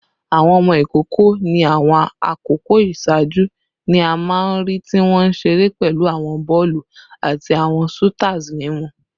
Awọn ọmọ ikoko ni awọn akoko iṣaaju ni a maa n rii ti wọn nṣire pẹlu awọn bọọlu ati awọn soothers mimu